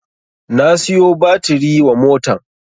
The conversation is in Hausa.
Na siyo batiri wa motan